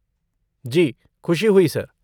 जी, खुशी हुई सर!